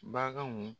Baganw